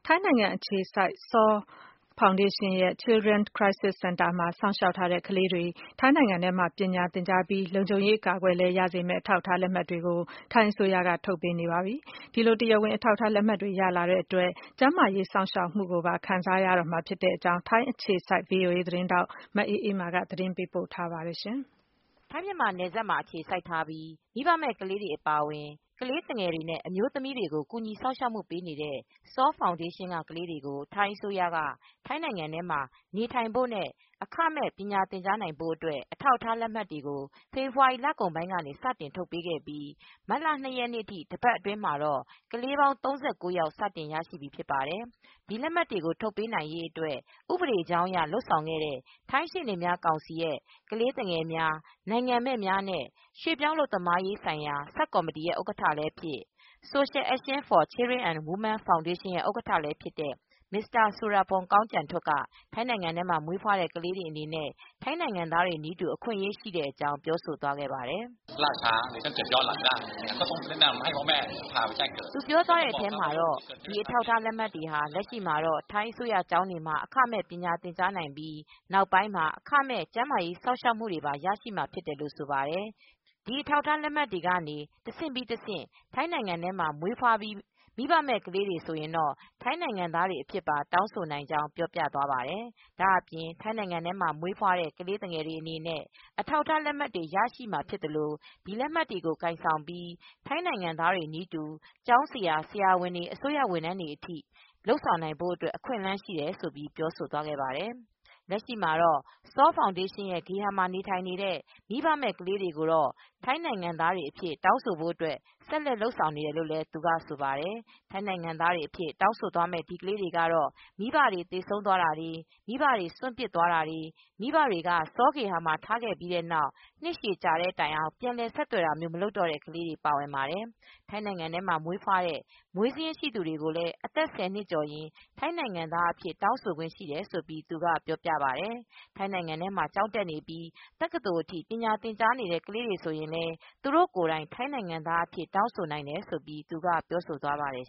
ိုင်းနိုင်ငံအခြေစိုက် SAW ဖောင်ဒေးရှင်းရဲ့ Children Crisis Center မှာ စောင့်ရှောက်ထားတဲ့ ကလေးတွေ ထိုင်း နိုင်ငံထဲမှာ ပညာသင်ကြားနိုင်ပြီး လုံခြုံရေးအကာအကွယ်လည်းရစေမယ့် အထောက်အထား လက်မှတ်တွေကို ထိုင်းအစိုးရက ထုတ်ပေးနေပြီဖြစ်ပါတယ်။ ဒီလို တရားဝင်အထောက်အထား လက်မှတ်တွေ ရလာတာကြောင့် ကျန်းမာရေးစောင့်ရှောက်မှုကိုပါ ခံစားရရှိကြတော့မှာပါ။ ထိုင်းအခြေစိုက်သတင်းထောက် မအေးမာက သတင်းပေးပို့ထားပါတယ်။ ထိုင်း-မြန်မာနယ်စပ်မှာအခြေစိုက်ပြီး မိဘမဲ့ကလေးတွေအပါအဝင် ကလေးသူငယ်တွေနဲ့ အမျိုးသမီးတွေကို ကူညီ စောင့်ရှောက် ပေးနေတဲ့ SAW ဖောင်ဒေးရှင်းက ကလေးတွေကို ထိုင်းအစိုးရက ထိုင်းနိုင်ငံထဲမှာ နေထိုင်ဖို့နဲ့ အခမဲ့ပညာသင်ကြားနိုင်ဖို့အတွက် အထောက်အထားလက်မှတ်တွေကို ဖေဖော်ဝါရီလကုန်ပိုင်း ကနေ စတင်ထုတ်ပေးခဲ့ပြီး မတ်လ ၂ ရက်နေ့ထိ တပတ်အတွင်းမှာ တော့ ကလေးပေါင်း ၃၉ ယောက် စတင်ရရှိပြီဖြစ်ပါတယ်။ ဒီလက်မှတ်တွေကို ထုတ်ပေးနိုင်ရေးအတွက် ဥပဒေကြောင်းအရ လုပ်ဆောင်ခဲ့တဲ့ ထိုင်းရှေ့နေများကောင်စီရဲ့ ကလေးသူငယ် များ၊ နိုင်ငံမဲ့များနဲ့ ရွှေ့ပြောင်းအလုပ်သမားရေးဆိုင်ရာ ဆပ်ကော်မတီဥက္ကဌလည်းဖြစ်၊ Social Action For Children And Women ဖောင်ဒေးရှင်းရဲ့ ဥက္ကဌလည်းဖြစ်တဲ့ Mr. Surapong Songchantuk က ထိုင်းနိုင်ငံမှာမွေးဖွားတဲ့ ကလေးတွေအနေနဲ့ ထိုင်းနိုင်ငံသားတွေနည်းတူ အခွင့်အရေးရှိတဲ့အကြောင်း ပြောပါတယ်၊ “ဒီအထောက်အထားလက်မှတ်ဟာ လက်ရှိမှာတော့ ထိုင်းအစိုးရကျောင်းတွေမှာ အခမဲ့ ပညာသင်ကြားနိုင်ပြီး နောက်ပိုင်းမှာ အခမဲ့ ကျန်းမာရေးစောင့်ရှောက်မူတွေပါ ရရှိမှာဖြစ်ပါတယ်။ ဒီအထောက်အထားလက်မှတ်တွေကနေ တဆင့်ပြီးတဆင့် ထိုင်း နိုင်ငံမှာမွေးဖွားပြီး မိဘမဲ့ကလေးတွေဆိုရင် ထိုင်းနိုင်ငံသားတွေအဖြစ်ပါတောင်းဆိုနိုင်ပါတယ်။ ဒါ့အပြင် ထိုင်းနိုင်ငံမှာမွေးဖွားတဲ့ ကလေးတွေအနေနဲ့ အထောက်အထားလက်မှတ်တွေရရှိမှာဖြစ်သလို ဒီလက်မှတ်တွေကိုင်ဆောင်ပြီး ထိုင်းနိုင်ငံသားတွေနည်းတူ ကျောင်းဆရာ၊ ဆရာဝန်၊ အစိုးရဝန်ထမ်းတွေအထိ လုပ်ဆောင်နိုင်ဖို့အတွက် အခွင့်အလန်းတွေရှိပါတယ်။” လက်ရှိမှာတော့ SAW ဖောင်ဒေးရှင်းရဲ့ ဂေဟာတွေမှာ နေထိုင်နေတဲ့ မိဘမဲ့ကလေးတွေကိုတော့ ထိုင်းနိုင်ငံသားတွေအဖြစ် တောင်းဆိုဖို့ ဆက်လက်လုပ်ဆောင်နေတယ်လို့ သူကဆိုပါတယ်။ ထိုင်းနိုင်ငံသားအဖြစ် တောင်းဆိုသွားမယ့် အဲဒီကလေးတွေကတော့ မိဘတွေသေဆုံးသွားခဲ့တာ၊ မိဘတွေက စွန့်ပစ်သွားခဲ့တာ၊ မိဘတွေက SAW ဂေဟာမှာ ထားခဲ့ပြီးတဲ့နောက် နှစ်ရှည်ကြာတဲ့တိုင် ပြန်လည် ဆက်သွယ်တာမျိုး မလုပ်တော့တဲ့ ကလေးတွေ ပါဝင်ပါတယ်။ ထိုင်းနိုင်ငံထဲမှာမွေးဖွားတဲ့ မွေးစာရင်းရှိသူတွေကိုလည်း အသက် ၁၀ နှစ်ကျော်ရင် ထိုင်းနိုင်ငံသားအဖြစ် တောင်းဆိုခွင့်ရှိတယ်လို့ သူကပြောပြပါတယ်။ ထိုင်းနိုင်ငံထဲမှာ ကျောင်းတက်နေပြီး တက္ကသိုလ်ထိ ပညာသင်ကြားနေတဲ့ ကလေးတွေဆိုရင်လည်း သူတို့ကိုယ်တိုင် ထိုင်းနိုင်ငံ သားအဖြစ် တောင်းဆိုနိုင်တယ်လို့လည်း သူကပြောပြသွားပါတယ်